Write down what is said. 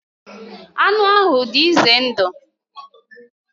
Anụ ahụ dị ize ndụ